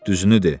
Düzünü de!